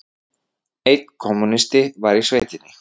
Einn kommúnisti var í sveitinni.